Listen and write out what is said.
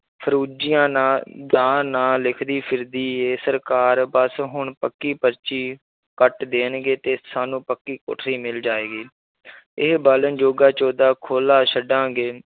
ਫ਼ਰੂਜੀਆਂ ਨਾਂ ਦਾ ਨਾਂ ਲਿਖਦੀ ਫਿਰਦੀ ਹੈ ਸਰਕਾਰ ਬਸ ਹੁਣ ਪੱਕੀ ਪਰਚੀ ਕੱਟ ਦੇਣਗੇ ਤੇ ਸਾਨੂੰ ਪੱਕੀ ਕੋਠੜੀ ਮਿਲ ਜਾਏਗੀ ਇਹ ਜੋਗਾ ਖੁੱਲਾ ਛੱਡਾਂਗੇ,